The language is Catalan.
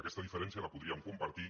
aquesta diferència la podríem compartir